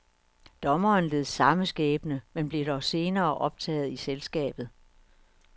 Dommeren led samme skæbne, men blev dog senere optaget i selskabet.